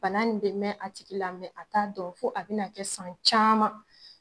Bana nin bɛ mɛn a tigi la , mɛ a t'a dɔn fo a bɛna kɛ san caman.